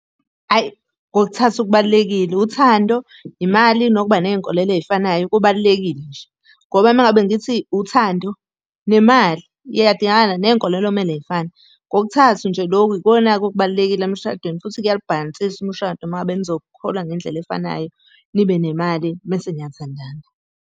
Hhayi, kokuthathu kubalulekile, uthando, imali, nokuba ney'nkolelo ey'fanayo kubalulekile nje. Ngoba uma ngabe ngithi uthando, nemali iyadingakala, ney'nkolelo kumele y'fane. Kokuthathu nje lokhu yikona-ke okubalulekile emshadweni, futhi kuyawubhalansisa umshado uma ngabe nizokholwa ngendlela efanayo, nibenemali, mese niyathandana.